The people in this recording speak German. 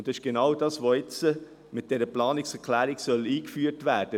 Genau dies soll aber jetzt mit dieser Planungserklärung eingeführt werden.